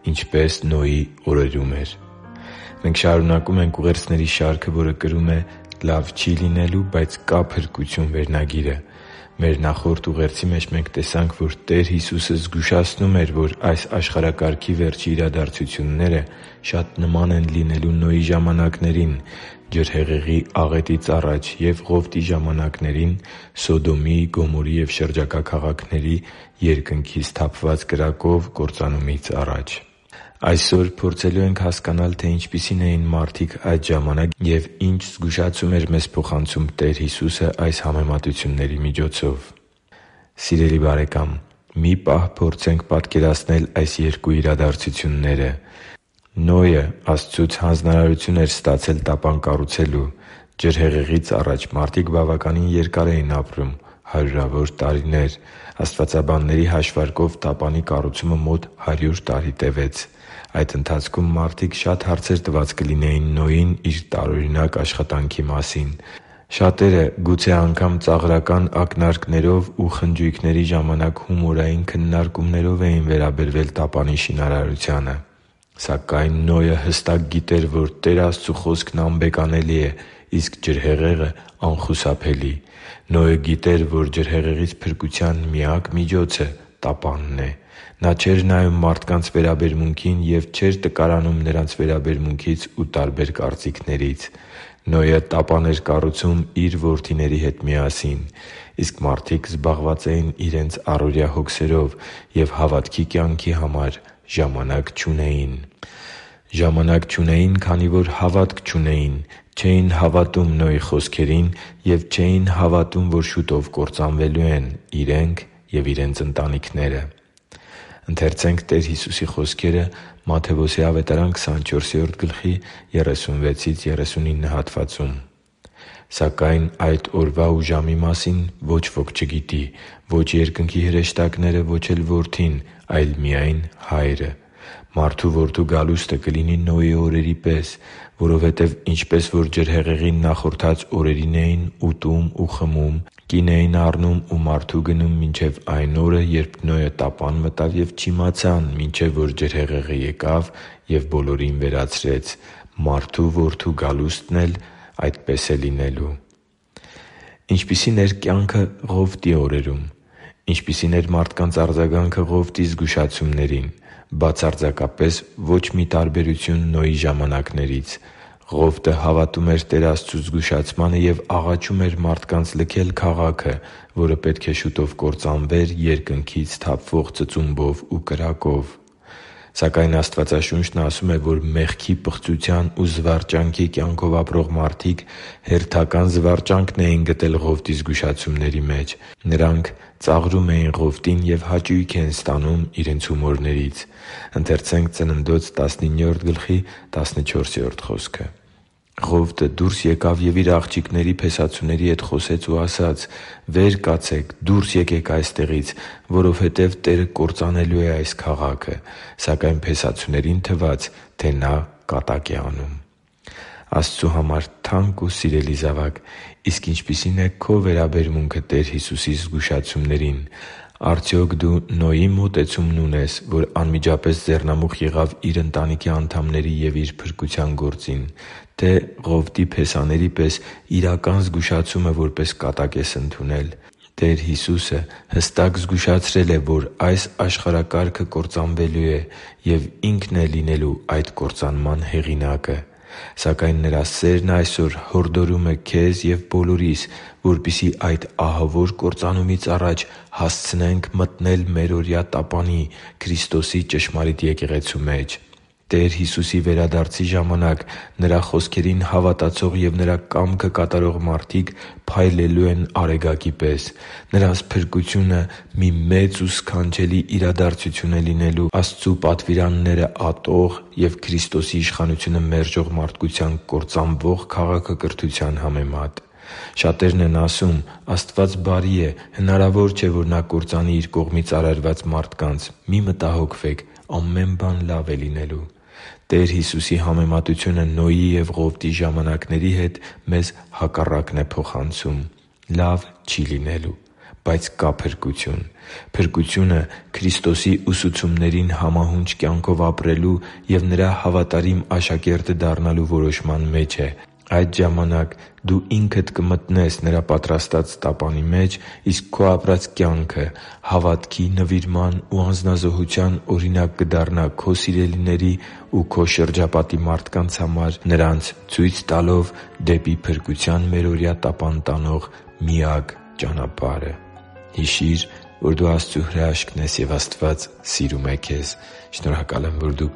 Ինչպես Նոյի օրերում էր․․․ Մենք շարունակում ենք ուղերձների շարքը, որը կրում է «Լավ չի՛ լինելու, բայց կա՛ փրկություն» վերնագիրը։ Մեր նախորդ ուղերձի մեջ մենք տեսանք, որ Տեր Հիսուսը զգուշացնում էր, որ այս աշխարհակարգի վերջի իրադարձությունները շատ նման են լինելու Նոյի ժամանակներին՝ ջրհեղեղի աղետից առաջ, և Ղովտի ժամանակներին՝ Սոդոմի, Գոմորի և շրջակա քաղաքների՝ երկնքից թափված կրակով կործանումից առաջ։ Այսօր փորձելու ենք հասկանալ, թե ինչպիսի՞ն էին մարդիկ այդ ժամանակ և ի՞նչ զգուշացում էր մեզ փոխանցում Տեր Հիսուսը այս համեմատությունների միջոցով։ Սիրելի՛ *|FNAME|*, մի պահ փորձենք պատկերացնել այս երկու իրադարձությունները։ Նոյն Աստծուց հանձնարարություն էր ստացել տապան կառուցելու։ Ջրհեղեղից առաջ մարդիկ բավականին երկար էին ապրում՝ հարյուրավոր տարիներ։ Աստվածաբանների հաշվարկով տապանի կառուցումը մոտ հարյուր տարի տևեց։ Այդ ընթացքում մարդիկ շատ հարցեր տված կլինեին Նոյին իր տարօրինակ աշխատանքի մասին։ Շատերը գուցե անգամ ծաղրական ակնարկներով ու խնջույքների ժամանակ հումորային քննարկումներով էին վերաբերվել տապանի շինարարությանը։ Սակայն Նոյը հստակ գիտեր, որ Տեր Աստծու Խոսքն անբեկանելի է, իսկ ջրհեղեղը՝ անխուսափելի։ Նոյը գիտեր, որ ջրհեղեղից փրկության միակ միջոցը տապանն է։ Նա չէր նայում մարդկանց վերաբերմունքին և չէր տկարանում նրանց վերաբերմունքից ու տարբեր կարծիքներից։ Նոյը տապանն էր կառուցում իր որդիների հետ միասին։ Իսկ մարդիկ զբաղված էին իրենց առօրյա հոգսերով և հավատքի կյանքի համար ժամանակ չունեին։ Ժամանակ չունեին, քանի որ հավատք չունեին՝ չէին հավատում Նոյի խոսքերին և չէին հավատում, որ շուտով կործանվելու են․․․ իրենք և իրենց ընտանիքները։ «Սակայն այդ օրվա ու ժամի մասին ոչ ոք չգիտի՝ ո՛չ երկնքի հրեշտակները և ո՛չ էլ Որդին, այլ միայն Հայրը։ Մարդու Որդու գալուստը կլինի Նոյի օրերի պես։ Որովհետև ինչպես որ ջրհեղեղին նախորդած օրերին էին ուտում ու խմում, կին էին առնում ու մարդու գնում մինչև այն օրը, երբ Նոյը տապան մտավ, և չիմացան, մինչև որ ջրհեղեղը եկավ ու բոլորին վերացրեց, Մարդու Որդու գալուստն էլ է այդպես լինելու» (Մատթեոս 24.36-39): Ինչպիսի՞ն էր կյանքը Ղովտի օրերում։ Ինչպիսի՞ն էր մարդկանց արձագանքը Ղովտի զգուշացումներին։ Բացարձակապես ո՛չ մի տարբերություն Նոյի ժամանակներից։ Ղովտը հավատում էր Տեր Աստծու զգուշացմանը և աղաչում էր մարդկանց լքել քաղաքը, որը պետք է շուտով կործանվեր երկնքից թափվող ծծումբով ու կրակով։ Սակայն Աստվածաշունչն ասում է, որ մեղքի պղծության ու զվարճանքի կյանքով ապրող մարդիկ հերթական զվարճանքն էին գտել Ղովտի զգուշացումների մեջ։ Նրանք ծաղրում էին Ղովտին և հաճույք ստանում իրենց հումորներից։ «Ղովտը դուրս ելավ և իր աղջիկների փեսացուների հետ խոսեց ու ասաց. «Վե՛ր կացեք, դո՛ւրս եկեք այստեղից, որովհետև Տերը կործանելու է այս քաղաքը»։ Սակայն փեսացուներին թվաց, թե նա կատակ է անում» (Ծննդոց 19․14): Աստծու համար թանկ ու սիրելի՛ *|FNAME|*, իսկ ինչպիսի՞ն է քո վերաբերմունքը Տեր Հիսուսի զգուշացումներին։ Արդյոք դու Նոյի՞ մոտեցումն ունես, որ անմիջապես ձեռնամուխ եղավ իր ընտանիքի անդամների և իր փրկության գործին, թե՞ Ղովտի փեսաների պես իրական զգուշացումը որպես կատակ ես ընդունել։ Տեր Հիսուսը հստակ զգուշացրել է, որ այս աշխարհակարգը կործանվելու է, և Ինքն է լինելու այդ կործանման հեղինակը։ Սակայն Նրա սերն այսօր հորդորում է քեզ և բոլորիս, որպեսզի այդ ահավոր կործանումից առաջ հասցնենք մտնել մերօրյա տապանի՝ Քրիստոսի ճշմարիտ Եկեղեցու մեջ։ Տեր Հիսուսի վերադարձի ժամանակ Նրա խոսքերին հավատացող և Նրա կամքը կատարող մարդիկ փայլելու են արեգակի պես։ Նրանց փրկությունը մի մեծ ու սքանչելի իրադարձություն է լինելու Աստծու պատվիրանները ատող և Քրիստոսի իշխանությունը մերժող մարդկության կործանվող քաղաքակրթության համեմատ։ Շատերն են ասում․ «Աստված բարի է։ Հնարավոր չէ, որ Նա կործանի Իր կողմից արարված մարդկանց։ Մի՛ մտահոգվեք, ամեն բան լավ է լինելու»։ Տեր Հիսուսի համեմատությունը Նոյի և Ղովտի ժամանակների հետ մեզ հակառակն է փոխանցում․ «Լավ չի՛ լինելու, բայց կա՛ փրկություն»։ Փրկությունը Քրիստոսի ուսուցումներին համահունչ կյանքով ապրելու և Նրա հավատարիմ աշակերտը դառնալու որոշման մեջ է։ Այդ ժամանակ դու ինքդ կմտնես Նրա պատրաստած Տապանի մեջ, իսկ քո ապրած կյանքը հավատքի, նվիրման ու անձնազոհության օրինակ կդառնա քո սիրելիների ու քո շրջապատի շատ մարդկանց համար՝ նրանց ցույց տալով դեպի փրկության մերօրյա տապան տանող միակ ճանապարհը․․․ Հիշի՛ր, որ դու Աստծո հրաշքն ես, և Աստված սիրում է քեզ։ Շնորհակալ եմ, որ դու